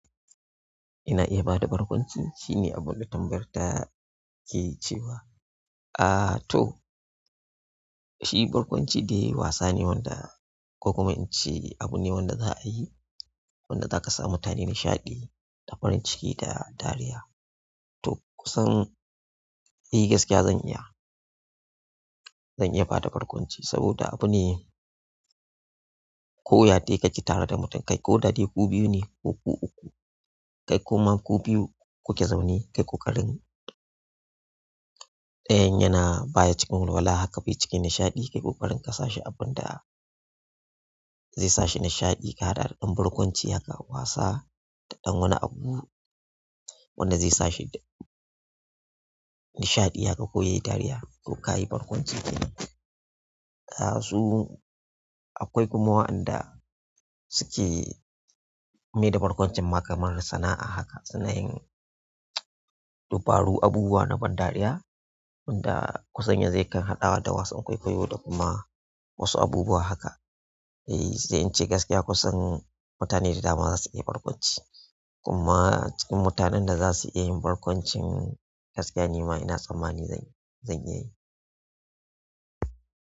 Ina iya bada barkwanci, shine abunda tambayar ta ke cewa. Aaa to, shi barkwanci dai wasa ne wanda ko kuma in ce abu ne wanda za ayi, wanda zaka sa mutane nishaɗi, da farin ciki da dariya. To kusan, eh gaskiya zan iya, zan iya bada barkwanci saboda abu ne ko ya dai kake tare da mutum kai ko da dai ku biyu ne, ko ku uku, kai ko kuma ku biyu kuke zaune kai ƙoƙarin ɗayan yana baya cikin walwala haka bai ciki nishaɗi, kayi ƙoƙarin ka sa shi abunda zai sa shi nishaɗi ka haɗa ɗan barkwanci haka wasa da ɗan wani abu, wanda zai sa shi nishaɗi aka koyi dariya ko kayi barkwanci dai. Aaa su, akwai kuma wa'anda suke mai da barkwancin ma kamar sana'a haka, suna yin dubaru, abubuwa na ban dariya, wanda kusan ya zai kan haɗawa da wasan kwaikwayo da kuma wasu abubuwa haka. Eh, sai in ce gaskiya kusan mutane da dama zasu iya barkwanci. Kuma cikin mutanen da zasu iya yin barkwancin gaskiya ni ma ina tsammani zan yi, zan iya yi.